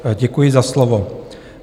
Děkuji za slovo.